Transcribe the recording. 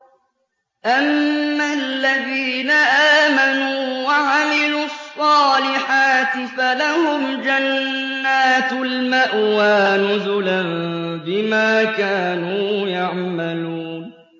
أَمَّا الَّذِينَ آمَنُوا وَعَمِلُوا الصَّالِحَاتِ فَلَهُمْ جَنَّاتُ الْمَأْوَىٰ نُزُلًا بِمَا كَانُوا يَعْمَلُونَ